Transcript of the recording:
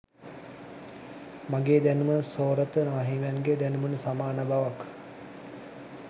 මගේ දැනුම සෝරත නාහිමියන්ගේ දැනුමට සමාන බවක්